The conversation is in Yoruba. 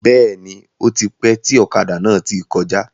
Bẹ́ẹ̀ni, ótipẹ́ tí ọ̀kadà náà tí kọjá.